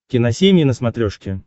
киносемья на смотрешке